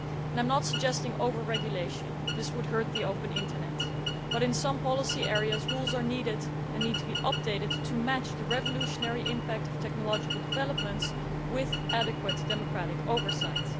I am not suggesting over regulation that would hurt the open Internet but in some policy areas rules are needed and need to be updated to match the revolutionary impact of technological developments with adequate democratic oversight.